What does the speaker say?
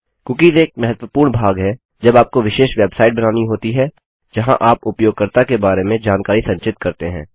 cookies एक महत्वपूर्ण भाग है जब आपको विशेष वेबसाइट बनानी होती है जहाँ आप उपयोगकर्ता के बारे में जानकारी संचित करते हैं